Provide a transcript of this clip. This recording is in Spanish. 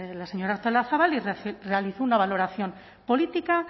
la señora artolazabal y realizó una valoración política